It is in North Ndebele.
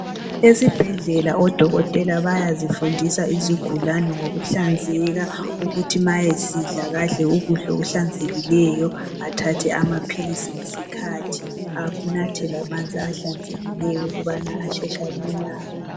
Esibhedlela odokotela bayazifundisa izigulane ngokuhlanzeka ukuthi ma esidla kadle ukudla okuhlanzekileyo, athathe amaphilisi ngesikhathi anathe lamanzi ahlanzekileyo ukuba asheshe alulame.